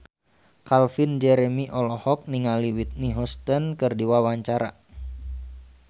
Calvin Jeremy olohok ningali Whitney Houston keur diwawancara